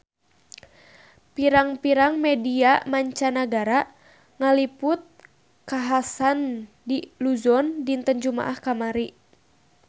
Pirang-pirang media mancanagara ngaliput kakhasan di Luzon dinten Jumaah kamari